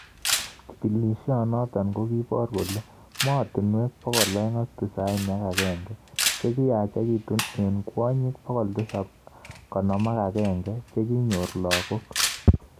Chigilishonotok kokiipor kole mootinwek 291 chekiyachekitu eng kwonyik 751 chekinyoor lagok